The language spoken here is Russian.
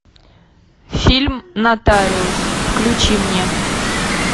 фильм нотариус включи мне